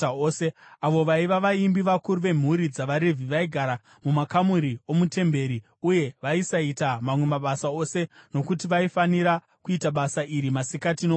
Avo vaiva vaimbi, vakuru vemhuri dzavaRevhi, vaigara mumakamuri omuTemberi uye vaisaita mamwe mabasa ose nokuti vaifanira kuita basa iri masikati nousiku.